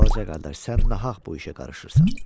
Balaca qardaş, sən nahaq bu işə qarışırsan.